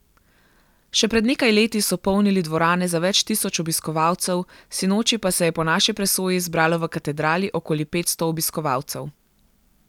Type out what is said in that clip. Še pred nekaj leti so polnili dvorane za več tisoč obiskovalcev, sinoči pa se je po naši presoji zbralo v Katedrali okoli petsto obiskovalcev.